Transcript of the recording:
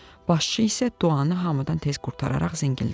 Başçı isə duanı hamıdan tez qurtararaq zəngildədi.